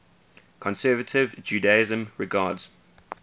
conservative judaism regards